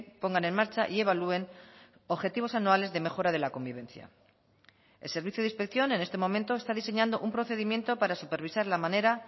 pongan en marcha y evalúen objetivos anuales de mejora de la convivencia el servicio de inspección en este momento está diseñando un procedimiento para supervisar la manera